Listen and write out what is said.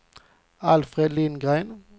Alfred Lindgren